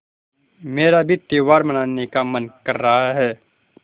मेरा भी त्यौहार मनाने का मन कर रहा है